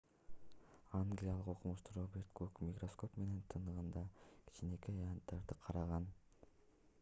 англиялык окумуштуу роберт гук микроскоп менен тыгындагы кичинекей аянттарды караган